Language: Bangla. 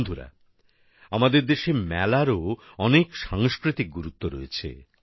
বন্ধুরা আমাদের দেশে মেলারও অনেক সাংস্কৃতিক গুরুত্ব রয়েছে